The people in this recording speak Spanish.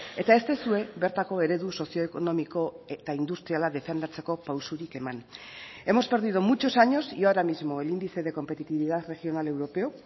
eta ez duzue bertako eredu sozio ekonomiko eta industriala defendatzeko pausurik eman hemos perdido muchos años y ahora mismo el índice de competitividad regional europeo